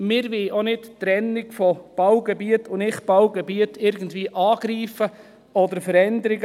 Wir wollen die Trennung von Baugebiet und Nichtbaugebiet auch nicht irgendwie angreifen oder verändern.